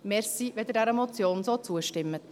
Danke, wenn Sie dieser Motion so zustimmen.